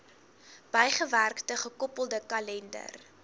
bygewerkte gekoppelde kalender